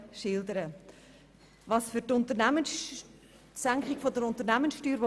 Wir stehen absolut hinter der Senkung der Unternehmenssteuer.